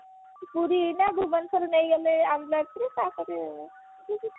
ପୁରୀ ନା ଭୁବନେଶ୍ବର ନେଇ ଗଲେ ambulance ରେ ତା ପରେ